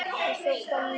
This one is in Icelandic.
Eins og kom fram á